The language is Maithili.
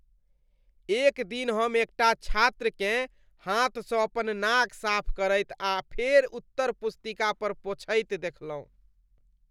एक दिन हम एकटा छात्रकेँ हाथसँ अपन नाक साफ करैत आ फेर उत्तर पुस्तिका पर पोंछैत देखलहुँ।